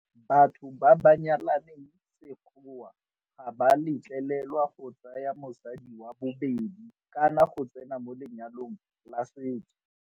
Batho ba ba nyalaneng sekgowa ga ba letlelelwa go ka tsaya mosadi wa bobedi kana go tsena mo lenyalong la setso.